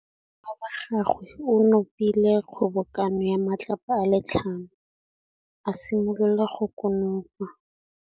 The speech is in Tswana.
Morwa wa gagwe o nopile kgobokanô ya matlapa a le tlhano, a simolola go konopa.